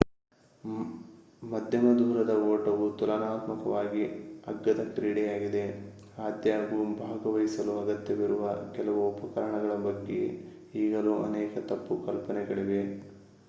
ಮಧ್ಯಮ ದೂರದ ಓಟವು ತುಲನಾತ್ಮಕವಾಗಿ ಅಗ್ಗದ ಕ್ರೀಡೆಯಾಗಿದೆ ಆದಾಗ್ಯೂ ಭಾಗವಹಿಸಲು ಅಗತ್ಯವಿರುವ ಕೆಲವು ಉಪಕರಣಗಳ ಬಗ್ಗೆ ಈಗಲೂ ಅನೇಕ ತಪ್ಪು ಕಲ್ಪನೆಗಳಿವೆ